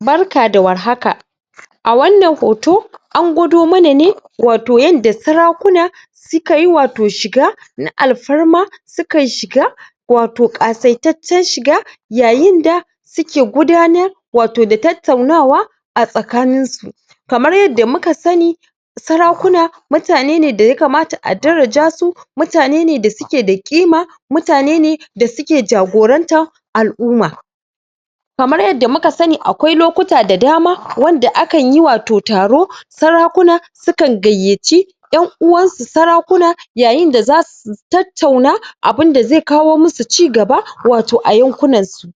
Barka da warhaka a wannan hoto an gwado mana ne wato yadda sarakuna sukayi wato shiga na alfarma sukayi shiga wato ƙasaitacciyar shiga yayi da suke gudanar wato da tattaunawa a tsakanin su kamar yadda muka sani sarakuna mutane ne da Yakamata a daraja su mutane ne da suke da ƙima mutane ne da suke jagorantar al’umma Kamar yadda muka sani akwai lokuta da dama wanda a kan yi wato taro sarakuna sukan gayyaci ‘yan uwansu Sarakuna yayin da zasu tattauna abinda zai kawo musu cigaba wato a yankuna su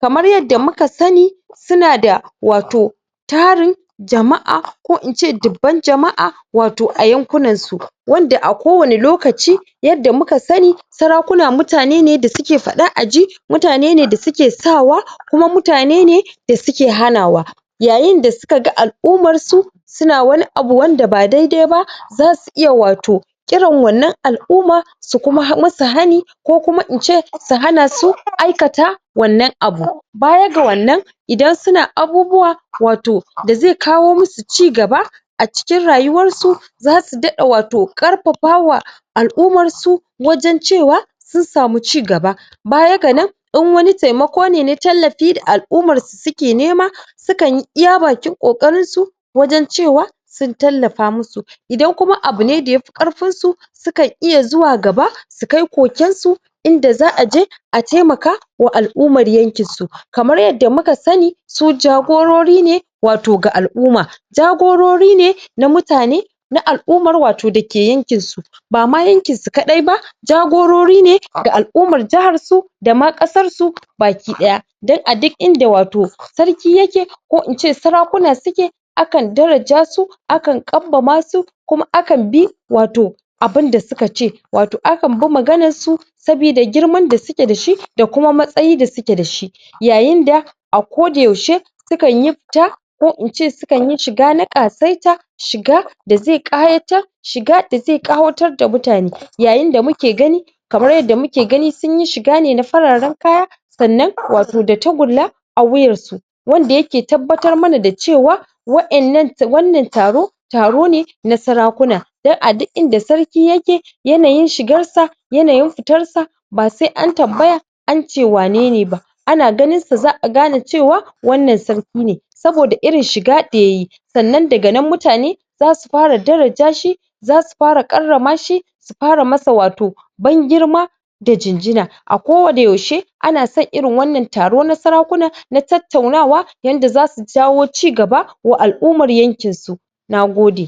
kamar yadda muka sani suna da wato tarin jama’a ko in ce dubban jama’a wato a yankuna su wanda a kowanne lokaci yadda muka sani sarakuna mutane ne da suke faɗa aji mutane ne da suke sawa kuma mutane ne da suke hanawa yayin da suka ga al’ummar su suna wani abu wanda ba daidai ba za su iya wato kiran wannan al’umma su kuma yi musu hani ko kuma in ce su hana su aikata wannan abu. Baya ga wannan idan suna abubuwa wato da zai kawo musu cigaba a cikin rayuwar su zasu daɗa Wato ƙarfafa al’ummar su wajan cewa sun sami cigaba bayaga nan idan wani taimakon ne na tallafi da al’ummar su suke nema sukan yi iya bakin kokarin su wajan cewa sun tallafa musu idan kuma abu ne da yafi ƙarfin su sukan iya zuwa gaba su kai koken su inda za’a je, a taimaka al’ummar yankin su, kamar yadda muka sani su jagorori ne wato ga al’umma jagorori ne na mutane na al’ummar dake yankin su Bama yankin su kaɗai ba jagorori ne ga al’umma jihar su dama ƙasar su baki ɗaya dan a duk inda wato Sarki yake ko in ce sarakuna suke akan daraja su akan ƙambama su kuma akan bi wato abinda suka ce, wato akan bi maganar su saboda girman da suke dashi da kuma matsayi da suke dashi yayi da koda yaushe su kanyi fita ko in ce sukan yi shiga na ƙasaita shiga da zai ƙayatar shiga da zai ƙawatar da mutane yayi da muke gani Kamar yadda muke gani sunyi shiga ne na fararan kaya sannan wato da takulla a wuyan su wanda yake tabbatar mana da cewa wa'yannan wannan taro taro ne na sarakuna dan a duk inda sarki yake yanayin shigar sa yanayin fitar sa ba sai an tambaya ance wanene ba ana ganin sa za'a gane cewa wannan sarki ne saboda irin shiga da yayi sannan daga nan mutane zasu fara daraja shi zasu fara karrama shi su fara masa wato ban girma da gingina a koda yaushe ana san irin wannan taro na sarakuna na tattaunawa yadda zasu jawo cigaba wa al'ummar yankin su nagode